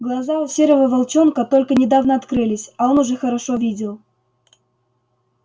глаза у серого волчонка только недавно открылись а он уже хорошо видел